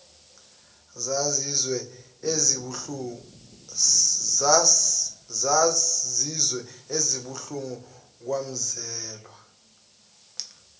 zazizwe ezibuhlungu kwazwela